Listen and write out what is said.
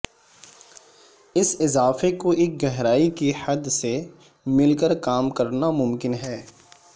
اس اضافے کو ایک گہرائی کی حد سے مل کر کام کرنا ممکن ہے